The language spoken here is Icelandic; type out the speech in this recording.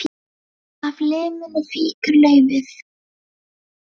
Af liminu fýkur laufið.